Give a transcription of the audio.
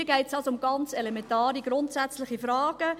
Hier geht es also um ganz elementare, grundsätzliche Fragen.